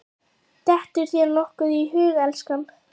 Dettur þér nokkuð í hug, elskan?